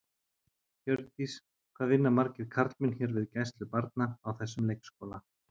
Hjördís: Hvað vinna margir karlmenn hér við gæslu barna, á þessum leikskóla?